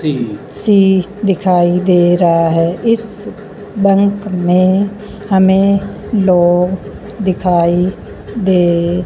सी दिखाई दे रहा है इस बैंक में हमें लोग दिखाई दे--